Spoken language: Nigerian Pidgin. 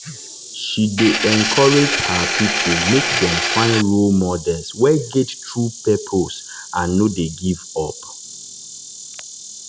she dey encourage her people make dem find role models wey get true purpose and no dey give up.